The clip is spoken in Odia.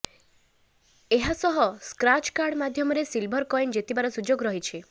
ଏହାସହ ସ୍କ୍ରାଚ କାର୍ଡ ମାଧ୍ୟମରେ ସିଲଭର କଏନ ଜିତିବାର ସୁଯୋଗ ରହିଛି